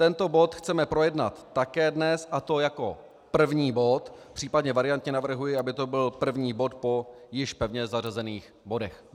Tento bod chceme projednat také dnes, a to jako první bod, případně variantně navrhuji, aby to byl první bod po již pevně zařazených bodech.